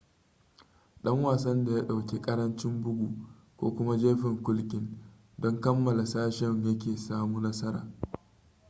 ɗan wasan da ya ɗauki ƙarancin bugu ko kuma jefin kulkin don kammala sashen yake samu nasara